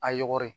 A yɔgɔri